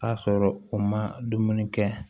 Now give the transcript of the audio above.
A sɔrɔ u ma dumuni kɛ